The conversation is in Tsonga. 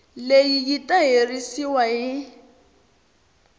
leyi yi ta herisiwa hi